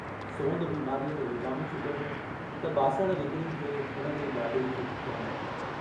सोनू बीमारीअ में विकामी चुको हो त बासण विकिणी थे घर जे गाॾे खे धिकयांईं।